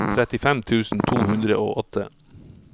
trettifem tusen to hundre og åtte